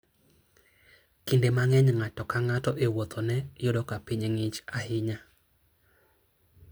Kinde mang'eny, ng'ato ka ng'ato e wuodhene yudo ka piny ng'ich ahinya.